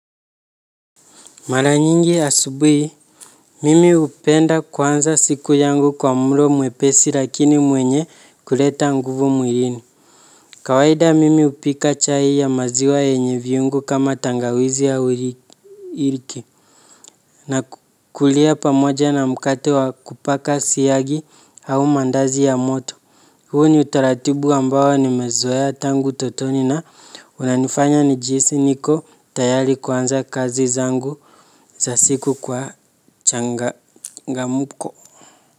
Mara nyingi asubui, mimi hupenda kuanza siku yangu kwa mlo mwepesi lakini mwenye kuleta nguvu mwilini. Kawahida mimi hupika chai ya maziwa yenye viungu kama tangawizi au iliki. Na kulia pamoja na mkate wa kupaka siagi au mandazi ya moto. Huu ni utaratibu ambao ni mezoea tangu utotoni na unanifanya nijihisi niko tayari kuanza kazi zangu za siku kwa changa ngamuko.